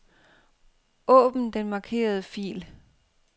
Åbn den markerede fil.